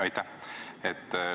Aitäh!